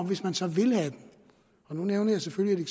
hvis man så vil have den og nu nævner jeg selvfølgelig